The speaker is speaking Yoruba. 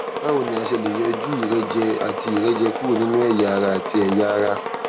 báwo ni a ṣe lè yọjú ìrẹjẹ àti ìrẹjẹ kúrò nínú ẹyà ara àti ẹyà ara